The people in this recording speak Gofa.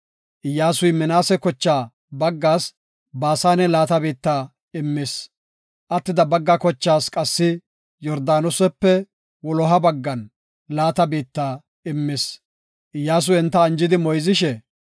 Iyyasuy, Minaase kochaa baggaas Baasanen laata biitta immis. Attida bagga kochaas qassi Yordaanosepe wuloha baggan laata biitta immis. Iyyasuy enta anjidi moyzishe,